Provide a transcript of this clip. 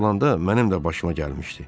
olanda mənim də başıma gəlmişdi.